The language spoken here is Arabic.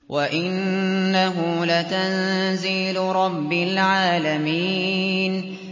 وَإِنَّهُ لَتَنزِيلُ رَبِّ الْعَالَمِينَ